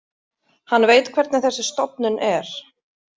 Hann veit hvernig þessi stofnun er.